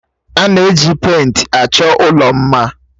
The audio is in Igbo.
A na-eji pèịnt achọ ụlọ mma.